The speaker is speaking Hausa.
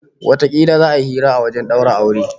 Watakila za'a yi hira a wajen daura auren